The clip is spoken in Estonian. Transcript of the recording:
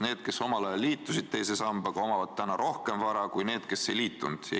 Neil, kes omal ajal liitusid teise sambaga, on rohkem vara kui nendel, kes ei liitunud.